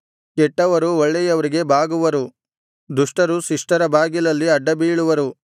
ಕೆಟ್ಟವರು ಒಳ್ಳೆಯವರಿಗೆ ಬಾಗುವರು ದುಷ್ಟರು ಶಿಷ್ಟರ ಬಾಗಿಲಲ್ಲಿ ಅಡ್ಡಬೀಳುವರು